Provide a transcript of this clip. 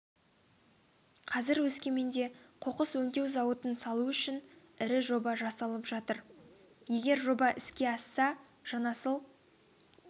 қазір өскеменде қоқыс өңдеу зауытын салу үшін ірі жоба жасалып жатыр егер жоба іске асса жанасыл